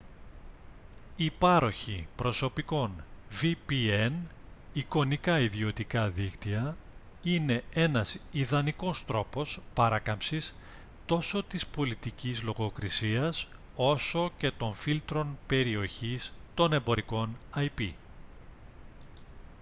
οι πάροχοι προσωπικών vpn εικονικά ιδιωτικά δίκτυα είναι ένας ιδανικός τρόπος παράκαμψης τόσο της πολιτικής λογοκρiσίας όσο και των φίλτρων περιοχής των εμπορικών ip